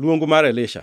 Luong mar Elisha